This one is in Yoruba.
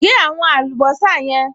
Gé àwọn àlùbọ́sà yẹn